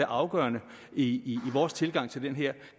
afgørende i vores tilgang til det her